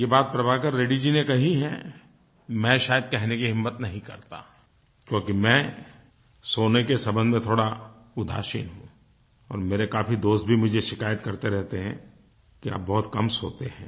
ये बात प्रभाकर रेड्डी जी ने कही है मैं शायद कहने की हिम्मत नहीं करता क्योंकि मैं सोने के संबंध में थोड़ा उदासीन हूँ और मेरे काफ़ी दोस्त भी मुझे शिकायत करते रहते हैं कि आप बहुत कम सोते हैं